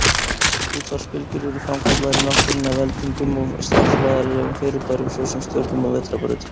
Útvarpsbylgjur eru framkallaðar í náttúrunni af eldingum og stjarnfræðilegum fyrirbærum, svo sem stjörnum og vetrarbrautum.